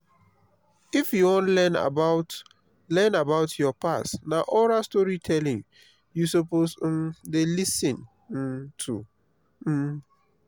if you wan learn about learn about your past na oral storytelling you suppose um dey lis ten um to. um